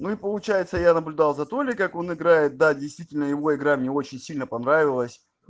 мы получается я наблюдал за толи как он играет да действительно его игра мне очень сильно понравилась